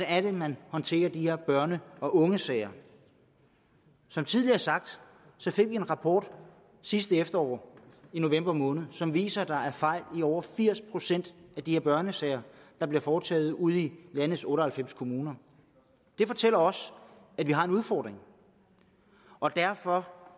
er man håndterer de her børne og ungesager som tidligere sagt fik vi en rapport sidste efterår i november måned som viser at der er fejl i over firs procent af de her børnesager der bliver foretaget ude i landets otte og halvfems kommuner det fortæller os at vi har en udfordring og derfor